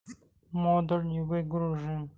модуль не выгружен